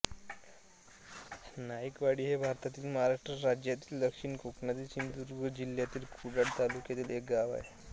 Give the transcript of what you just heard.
नाईकवाडी हे भारतातील महाराष्ट्र राज्यातील दक्षिण कोकणातील सिंधुदुर्ग जिल्ह्यातील कुडाळ तालुक्यातील एक गाव आहे